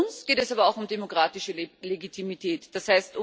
Für uns geht es aber auch um demokratische Legitimität, d.